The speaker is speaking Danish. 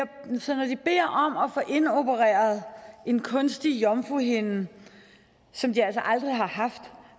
få indopereret en kunstig jomfruhinde som de altså aldrig har haft